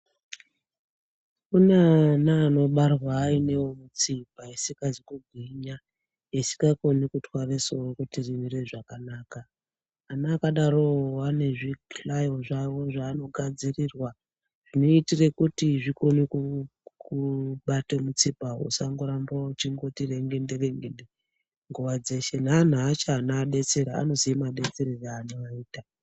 Kune ana anobarwa aine mutsipa isikazi kugwinya isikakoni kutware soro kuti rimire zvakanaka ana akadaro ane zvihlayo Zvawo zvaanogadzirirwa zvinoite kuti zvikone ku kubate mutsipa usangoramba uchingoti rengende rengende nguwa dzeshe neanhu achi anoadetsera anoziye madetserero acho aanoaita.